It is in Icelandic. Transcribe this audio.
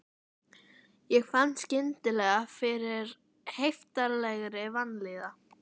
Hafi hann til að mynda frétt það af höfðingjum að